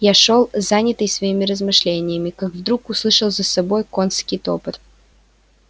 я шёл занятый своими размышлениями как вдруг услышал за собою конский топот